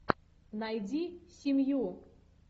найди семью